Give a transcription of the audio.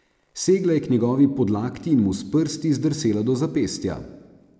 Segla je k njegovi podlakti in mu s prsti zdrsela do zapestja.